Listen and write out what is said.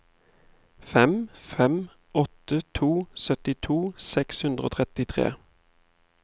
fem fem åtte to syttito seks hundre og trettitre